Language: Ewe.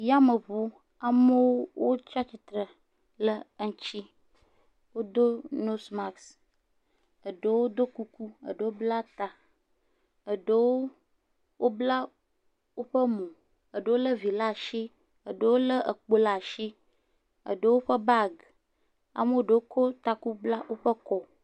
Yameʋu. Amewo tsi atsitre ɖe eŋuti. Wodo nose mask, eɖewo ɖɔ kuku, eɖewo bla ta. Eɖewo bla woƒe mɔ. Eɖewo le evi ɖe asi, eɖewo le ekpo ɖe asi, eɖewo ƒe bagi. Amea ɖewo kɔ woƒe taku bla kɔ.